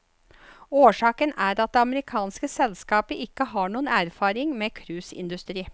Årsaken er at det amerikanske selskapet ikke har noen erfaring med cruiseindustri.